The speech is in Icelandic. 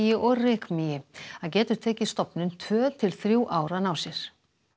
og rykmýi það getur tekið stofninn tvö til þrjú ár að ná sér